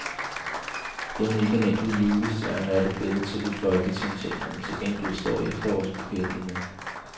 End ikke en enkelt julestjerne er det blevet til i folketingssalen til gengæld står efterårsbuketten endnu.